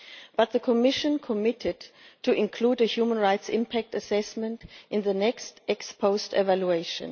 But the Commission committed to including a human rights impact assessment in the next ex-post evaluation.